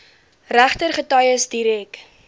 regter getuies direk